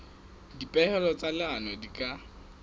dipehelo tsa leano di ka